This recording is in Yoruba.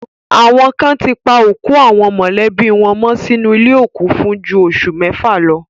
Àwọn kan ti pa òkú àwọn mọ̀lẹ́bí wọn mọ́ sínú ilé òkú fún ju oṣù mẹ́fà lọ.